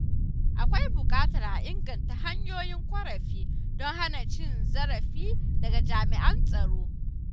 Akwai buƙatar a inganta hanyoyin ƙorafi don hana cin zarafi daga jami’an tsaro.